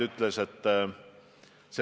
Nüüd selgemast sõnumist kommunikatsioonis.